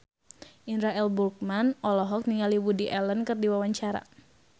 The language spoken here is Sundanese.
Indra L. Bruggman olohok ningali Woody Allen keur diwawancara